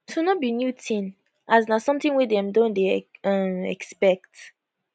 so no be new tin as na sometin wey dem don dey um expect